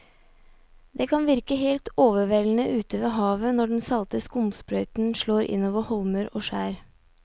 Det kan virke helt overveldende ute ved havet når den salte skumsprøyten slår innover holmer og skjær.